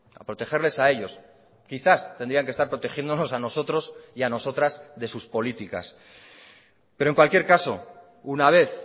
a protegerles a ellos quizás tendrían que estar protegiéndonos a nosotros y a nosotras de sus políticas pero en cualquier caso una vez